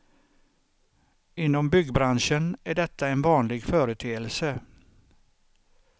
Inom byggbranschen är detta en vanlig företeelse.